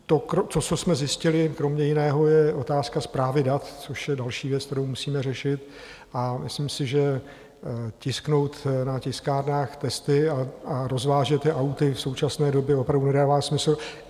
To, co jsme zjistili kromě jiného, je otázka správy dat, což je další věc, kterou musíme řešit, a myslím si, že tisknout na tiskárnách testy a rozvážet je auty v současné době opravdu nedává smysl.